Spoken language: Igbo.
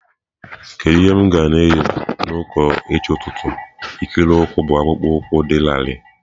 Kedu ihe m ga-eyi na ụka echi ụtụtụ ikiri ụkwụ bụ akpụkpọ ụkwụ dị larịị?